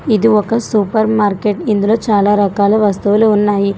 ఇది ఒక supermarket ఇందులో చాలా రకాల వస్తువులు ఉన్నాయి.